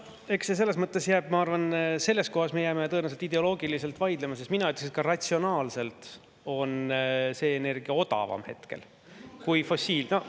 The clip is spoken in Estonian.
Ma arvan, et selles kohas me jääme tõenäoliselt ideoloogiliselt vaidlema, sest mina ütleks, et ka ratsionaalselt on see energia hetkel odavam kui fossiilne.